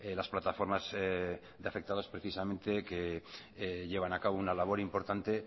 las plataformas de afectados precisamente que llevan a cabo una labor importante